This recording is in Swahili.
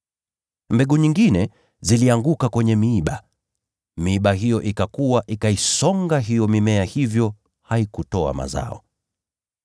Mbegu nyingine zilianguka kwenye miiba, nayo miiba hiyo ikakua, ikaisonga hiyo mimea, hivyo haikutoa mazao.